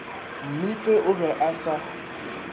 mmipe o be a sa